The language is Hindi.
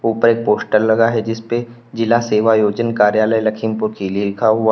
ऊपर एक पोस्टर लगा है जिसपे जिला सेवा योजन कार्यालय लखीमपुर खिली लिखा हुआ--